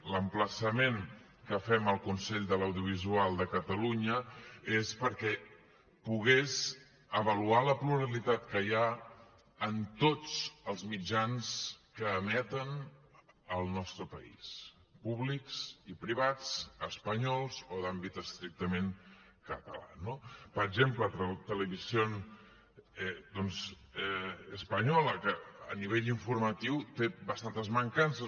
l’emplaçament que fem al consell de l’audiovisual de catalunya és perquè pogués avaluar la pluralitat que hi ha en tots els mitjans que emeten al nostre país públics i privats espanyols o d’àmbit estrictament català no per exemple doncs televisión española que a nivell informatiu té bastantes mancances